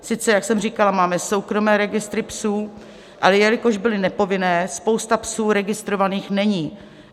Sice, jak jsem říkala, máme soukromé registry psů, ale jelikož byly nepovinné, spousta psů registrovaných není.